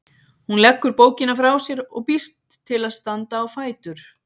Hún leggur bókina frá sér og býst til að standa á fætur.